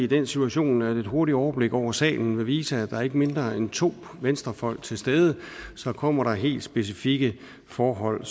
i den situation at et hurtigt overblik over salen vil vise at der er ikke mindre end to venstrefolk til stede så kommer der helt specifikke forhold